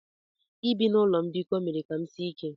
Ibi na ụlọ mbikọ mere ka m sie ike.